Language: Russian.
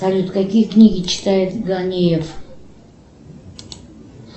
салют какие книги читает ганиев